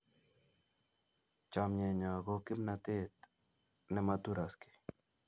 Chamyenyo ko kimnatet ne ma turaskei